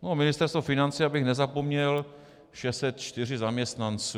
Ministerstvo financí, abych nezapomněl - 604 zaměstnanců.